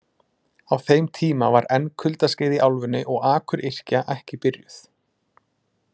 Á þeim tíma var enn kuldaskeið í álfunni og akuryrkja ekki byrjuð.